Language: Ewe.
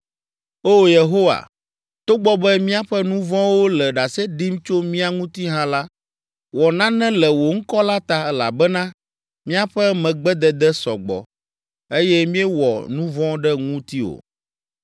O Yehowa, togbɔ be míaƒe nu vɔ̃wo le ɖase ɖim tso mía ŋuti hã la, wɔ nane le wò ŋkɔ la ta, elabena míaƒe megbedede sɔ gbɔ, eye míewɔ nu vɔ̃ ɖe ŋutiwò.